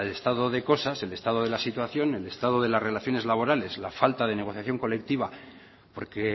el estado de cosas que el estado de la situación el estado de las relaciones laborales la falta de negociación colectiva porque